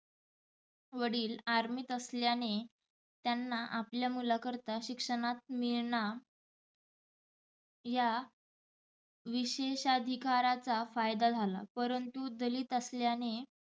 वडिल army त असल्याने त्यांना आपल्या मुलाकरता शिक्षणात मिळणा या विशेष अधिकाराचा फायदा झाला परंतु दलित असल्याने